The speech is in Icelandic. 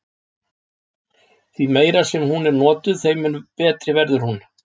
Því meira sem hún er notuð þeim mun betri verður hún.